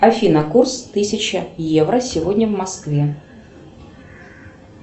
афина курс тысяча евро сегодня в москве